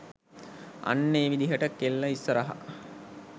අන්න ඒ විදිහට කෙල්ල ඉස්‌සරහ